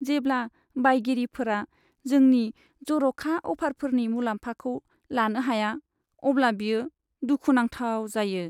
जेब्ला बायगिरिफोरा जोंनि जर'खा अ'फारफोरनि मुलाम्फाखौ लानो हाया अब्ला बेयो दुखु नांथाव जायो।